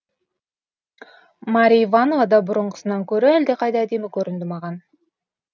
марья иванова да бұрынғысынан көрі әлдеқайда әдемі көрінді маған